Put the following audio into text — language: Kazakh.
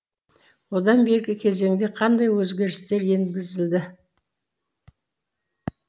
одан бергі кезеңде қандай өзгерістер енгізілді